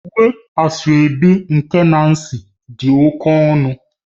Uwe asoebi nke Nancy dị oke ọnụ